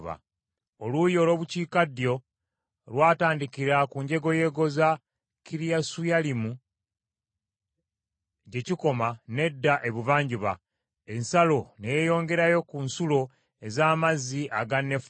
Oluuyi olw’obukiikaddyo lwatandikira ku njegoyego za Kiriyasuyalimu gye kikoma n’edda ebuvanjuba, ensalo ne yeeyongerayo ku nsulo ez’amazzi aga Nefutoa.